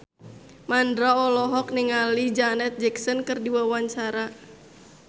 Mandra olohok ningali Janet Jackson keur diwawancara